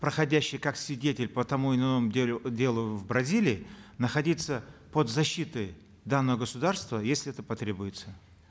проходящие как свидетели по тому или иному э делу в бразилии находиться под защитой данного государства если это потребуется